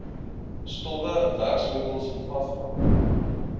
stowwe werkwinkels wasvakke